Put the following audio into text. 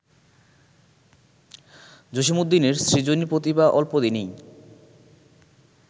জসীমউদ্দীনের ‘সৃজনী প্রতিভা’ অল্পদিনেই